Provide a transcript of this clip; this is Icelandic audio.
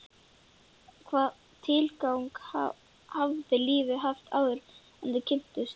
Hvaða tilgang hafði lífið haft áður en þau kynntust?